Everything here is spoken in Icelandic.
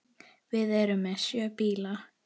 Við erum með sjö bíla.